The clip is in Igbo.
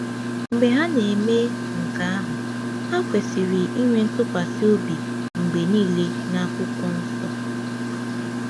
Mgbe ha na-eme nke ahụ, ha kwesịrị ịnwe ntụkwasị obi mgbe niile n’akwụkwọ nsọ.